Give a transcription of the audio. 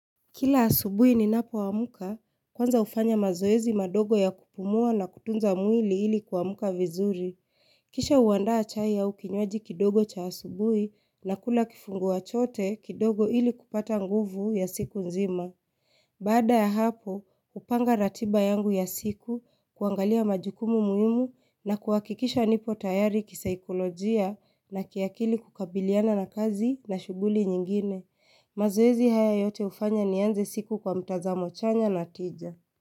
Kila asubuhi ninapo amka, kwanza hufanya mazoezi madogo ya kupumua na kutunza mwili ili kuamka vizuri. Kisha huandaa chai au kinywaji kidogo cha asubuhi, nakula kifungua chote kidogo ili kupata nguvu ya siku nzima. Baada ya hapo, hupanga ratiba yangu ya siku, kuangalia majukumu muhimu na kuhakikisha nipo tayari kisaikolojia na kiakili kukabiliana na kazi na shughuli nyingine. Mazoezi haya yote hufanya nianze siku kwa mtazamo chanya na tija.